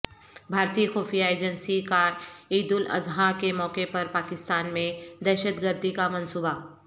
بھارتی خفیہ ایجنسی کاعیدالاضحی کے موقع پرپاکستان میں دہشتگردی کامنصوبہ